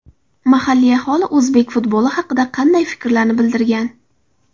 Mahalliy aholi o‘zbek futboli haqida qanday fikrlarni bildirgan?